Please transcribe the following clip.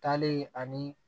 Taalen ani